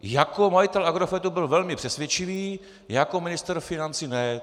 Jako majitel Agrofertu byl velice přesvědčivý, jako ministr financí ne.